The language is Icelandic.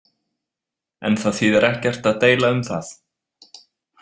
En það þýðir ekkert að deila um það.